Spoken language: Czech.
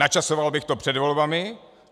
Načasoval bych to před volbami.